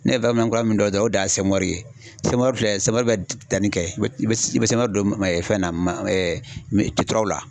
Ne ye baarakɛ minɛn kura min dɔn o dan ye semɔri ye semɔri filɛ semɔri bɛ danni kɛ i bɛ semɔri don fɛn na man la.